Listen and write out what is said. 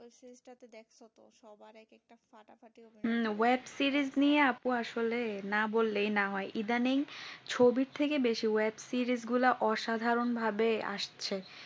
হুম ওই series নিয়ে আপু আসলে না বললে না হয় ইদানিং ছবি থেকে বেশি series গুলা অসাধারণভাবে আসছে